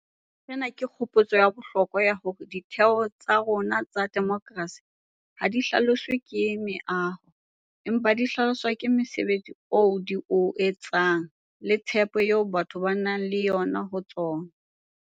Sena ke kgopotso ya bohlokwa ya hore ditheo tsa rona tsa demokerasi ha di hlaloswe ke meaho, empa di hlaloswa ke mosebetsi oo di o etsang le tshepo eo batho ba nang le yona ho tsona.